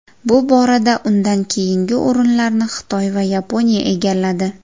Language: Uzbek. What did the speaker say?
Bu borada undan keyingi o‘rinlarni Xitoy va Yaponiya egalladi.